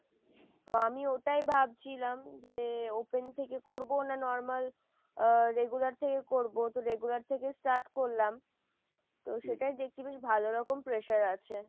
তো আমি ওটাই ভাবছিলাম যে open থেকে করবো না normal আহ regular থেকে করবো তো regular থেকে start করলাম তো সেটাই দেখছি বেশ ভালোরকম pressure আছে।